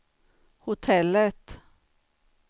hotellet